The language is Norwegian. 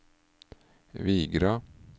Vigra